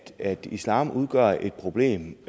at islam udgør et problem